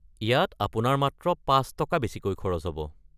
ইয়াত আপোনাৰ মাত্ৰ পাঁচ টকা বেছিকৈ খৰচ হ'ব।